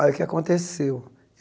Aí o que aconteceu?